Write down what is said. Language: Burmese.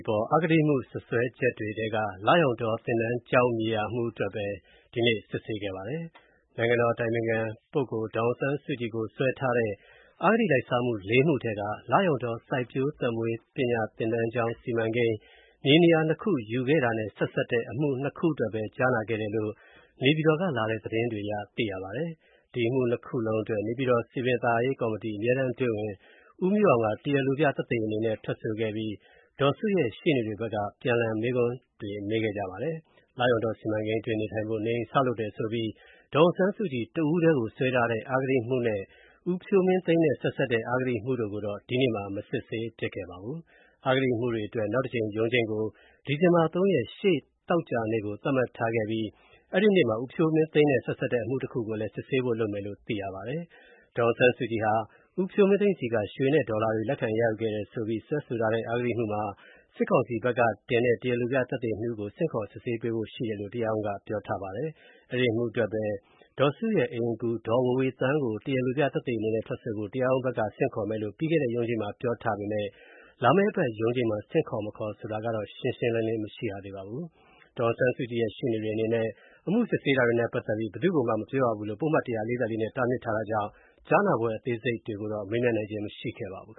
ပေါ် အဂတိမှုစွဲချက်တွေထဲက လရောင်တောသင်တန်းကျောင်းမြေယာအမူတွေအတွက်ပဲ ဒီနေ့ စစ်ဆေးခဲ့ပါတယ်။ နိုင်ငံတော်အတိုင်ပင်ခံ ဒေါ်စုကိုစွဲထားတဲ့ အဂတိလိုက်စားမှု လေးမှုထဲက လရောင်တောစိုက်ပျိုးသက်မွေးပညာသင်တန်းကျောင်း စီမံကိန်း မြေနေရာနှစ်ခုရယူခဲ့တာနဲ့ဆက်စပ်တဲ့ အမှု နှစ်ခုအတွက်ပဲ ကြားနာခဲ့တယ်လို့ နေပြည်တော်ကလာတဲ့ သတင်းတွေအရ သိရပါတယ်။ ဒီအမှုနှစ်ခုလုံးအတွက် နေပြည်တော် စည်ပင်သာယာရေးကော်မတီ အမြဲတမ်းအတွင်းဝန် ဦးမျိုးအောင်က တရားလိုပြသက်သေအနေနဲ့ ထွက်ဆိုခဲ့ပြီး ဒေါ်အောင်ဆန်းစုကြည်ရဲ့ရှေ့နေတွေဘက်ကပြန်လှန်မေးခွန်းတွေ မေးခဲ့ကြပါတယ်။ လရောင်တောစီမံကိန်းအတွင်း နေထိုင်ဖို့ နေအိမ်ဆောက်လုပ်တယ်ဆိုပြီး ဒေါ်အောင်ဆန်းစုကြည် တဦးတည်းကို စွဲဆိုထားတဲ့အဂတိမှုနဲ့ ဦးဖြိုးမင်းသိန်းနဲ့ဆက်စပ်တဲ့အဂတိမှုတို့ကိုတော့ ဒီနေ့မှာ မစစ်ဆေးဖြစ်ပါဘူး။ အဂတိမှုတွေအတွက် နောက်တကြိမ်ရုံးချိန်းကို ဒီဇင်ဘာ ၃ ရက်၊ ရှေ့သီတင်းပတ် သောကြာနေ့ကို သတ်မှတ်ထားပြီး အဲဒီနေ့မှာ ဦးဖြိုးမင်းသိန်းနဲ့ဆက်စပ်တဲ့ အမှုတခုတည်းကို စစ်ဆေးဖို့လုပ်မယ်လို့သိရပါတယ်။ နိုင်ငံတော်အတိုင်ပင်ခံပုဂ္ဂိုလ် ဒေါ်အောင်ဆန်းစုကြည်ဟာ ဦးဖြိုးမင်းသိန်းဆီက ရွှေနဲ့ ဒေါ်လာတွေ လက်ခံရယူခဲ့တယ်ဆိုပြီး စွဲဆိုထားတဲ့အဂတိမှုမှာ စစ်ကောင်စီဘက်ကတင်တဲ့ တရားလိုပြ သက်သေနှစ်ဦးကို ဆင့်ခေါ်စစ်ဆေးဖို့ရှိတယ်လို့ တရားရုံးကပြောထားပါတယ်။ အဲဒီအမှုအတွက် ဒေါ်အောင်ဆန်းစုကြည်ရဲ့အိမ်အကူ ဒေါ်ဝေဝေသန်းကို တရားလိုပြသက်သေအနေနဲ့ ထွက်ဆိုဖို့ တရားရုံးဘက်က ဆင့်ခေါ်မယ်လို့ ပြီးခဲ့တဲ့ရုံးချိန်းမှာ ပြောထားပေမယ့် လာမယ့်အပတ်ရုံးချိန်းမှာ ဆင့်ခေါ်မခေါ်ဆိုတာ ရှင်းရှင်းလင်းလင်းမသိရပါဘူး။ ဒေါ်အောင်ဆန်းစုကြည်ရဲ့ ရှေ့နေတွေအနေနဲ့ အမှုစစ်ဆေးတာတွေနဲ့ပတ်သက်ပြီး ဘယ်သူ့ကိုမှ မပြောရဘူးလို့ ပုဒ်မ ၁၄၄ နဲ့ တားမြစ်ထားတာကြောင့် ကြားနာပွဲ အသေးစိတ်တွေကို မေးမြန်းနိုင်ခြင်းမရှိပါဘူး